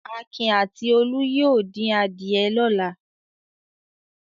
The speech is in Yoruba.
Akin àti Olú yóò dín adìẹ lọ́la.